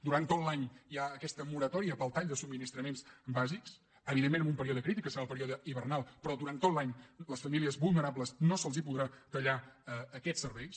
durant tot l’any hi ha aquesta moratòria per al tall de subministraments bàsics evidentment amb un període crític que serà el període hivernal però durant tot l’any a les famílies vulnerables no se’ls podrà tallar aquests serveis